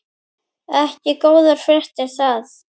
Ekki góðar fréttir það.